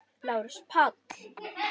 LÁRUS: Páll!